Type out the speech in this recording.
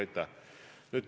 Aitäh!